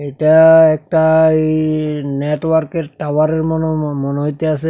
এইটা একটা এই নেটওয়ার্ক -এর টাওয়ার -এর মনো মনো হইতাসে।